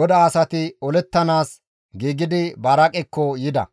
GODAA asati olettanaas giigidi Baraaqekko yida.